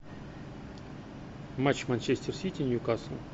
матч манчестер сити ньюкасл